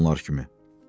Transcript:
Mən də onlar kimi.